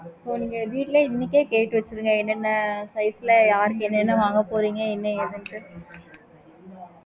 இப்போ நீங்க வீட்டுல இன்னைக்கே கேட்டு வெச்சுடுங்க